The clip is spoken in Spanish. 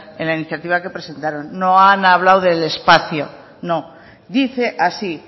en la iniciativa que presentaron no han hablado del espacio no dice así